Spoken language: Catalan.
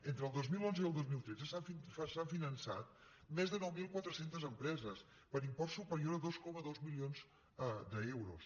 entre el dos mil onze i el dos mil tretze s’han finançat més de nou mil quatre cents empreses per import superior a dos coma dos milions d’euros